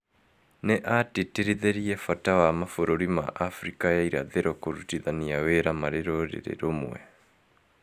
Nĩ atĩtĩrithirie bata wa mabũrũri ma Afrika ya Irathĩro kũrutithania wĩra marĩ rũrĩrĩ rũmwe".